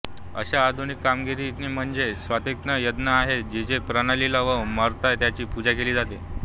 अशा आधुनिक कामगिरी म्हणजे सात्त्विक यज्ञ आहेत जिथे प्राण्याला न मारता त्याची पूजा केली जाते